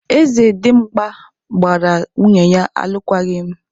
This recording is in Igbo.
Eze Dimgba gbara nwunye ya alụkwaghịm.